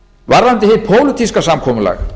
varðandi hið pólitíska samkomulag